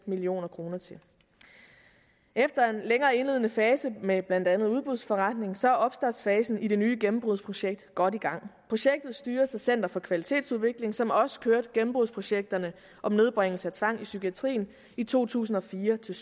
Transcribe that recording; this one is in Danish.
million kroner til efter en længere indledende fase med blandt andet udbudsforretning så er opstartsfasen i det nye gennembrudsprojekt godt i gang projektet styres af center for kvalitetsudvikling som også kørte gennembrudsprojekterne om nedbringelse af tvang i psykiatrien i to tusind og fire til